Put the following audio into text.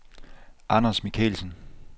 Anders Michelsen